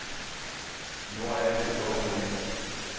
Nå er jeg rolig og harmonisk.